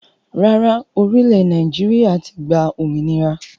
Rárá, orílè Naijiria ti gbà òmìnira